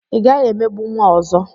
Ị gaghị emegbu nwa ọzọ!